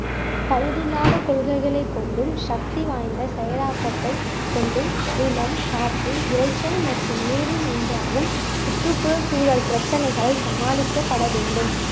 பழுது இல்லாத கொள்கைகளைக் கொண்டும் சக்தி வாய்ந்த செயலாகத்தை கொண்டும் நிலம் காற்று இறைச்சல் மற்றும் நீரில் உண்டாகும் சுற்றுபுழ சூழல் பிரச்சனைகளை சமாளிக்கப்பட வேண்டும்